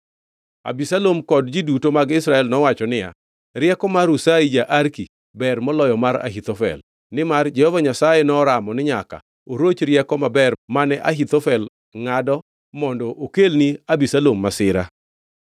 Abisalom kod ji duto mag Israel nowacho niya, “Rieko mar Hushai ja-Arki ber moloyo mar Ahithofel.” Nimar Jehova Nyasaye noramo ni nyaka oroch rieko maber mane Ahithofel ongʼado mondo okelni Abisalom masira.